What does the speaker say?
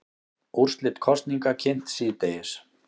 Úrslit kosninga kynnt síðdegis